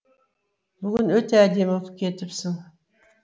бүгін өте әдемі боп кетіпсің